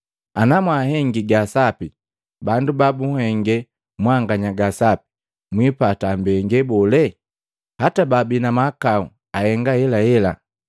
Ana mwahengi ga sapi bandu babuhenge mwanganya ga sapi mwiipata mbengee bole? Hata baabi na mahakau ahenga ahelahela!